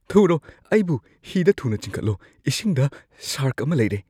ꯊꯨꯔꯣ, ꯑꯩꯕꯨ ꯍꯤꯗ ꯊꯨꯅ ꯆꯤꯡꯈꯠꯂꯣ, ꯏꯁꯤꯡꯗ ꯁꯥꯔꯛ ꯑꯃ ꯂꯩꯔꯦ꯫